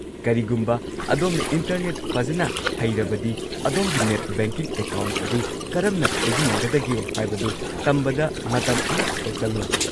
ꯀꯔꯤꯒꯨꯝꯕ ꯑꯗꯣꯝꯅ ꯏꯟꯇꯔꯅꯦꯠ ꯐꯖꯅ ꯍꯩꯔꯕꯗꯤ, ꯑꯗꯣꯝꯒꯤ ꯅꯦꯠ ꯕꯦꯡꯀꯤꯡ ꯑꯦꯀꯥꯎꯟꯠ ꯑꯗꯨ ꯀꯔꯝꯅ ꯁꯤꯖꯤꯟꯅꯒꯗꯒꯦ ꯍꯥꯏꯕꯗꯨ ꯇꯝꯕꯗ ꯃꯇꯝ ꯑꯃꯠꯇ ꯆꯪꯂꯣꯏ꯫